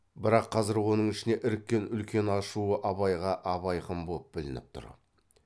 бірақ қазір оның ішіне іріккен үлкен ашуы абайға абайқын боп білініп тұр